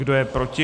Kdo je proti?